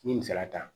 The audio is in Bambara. N ye misaliya ta